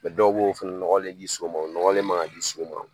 dɔw b'o fɛnɛ nɔgɔlen di so ma. O nɔgɔlen man ka di so ma.